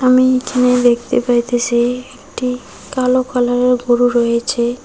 আমি এখানে দেখতে পাইতাসি একটি কালো কালারের গরু রয়েছে।